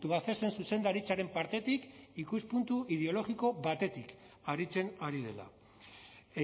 tubacexen zuzendaritzaren partetik ikuspuntu ideologiko batetik aritzen ari dela